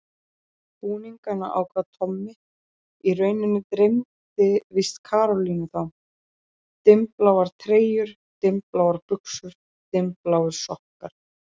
Búningana ákvað Tommi, í rauninni dreymdi víst Karolínu þá: Dimmbláar treyjur, dimmbláar buxur, dimmbláir sokkar.